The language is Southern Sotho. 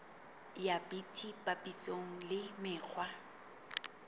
ya bt papisong le mekgwa